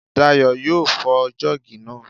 Dayọ̀ yóò fọ́ jọ́ọ̀gì náà